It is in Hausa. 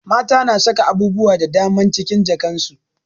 Mata na saka abubuwa da daman cikin jakan su